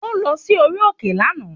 Ó lọ sí orí òkè lànà.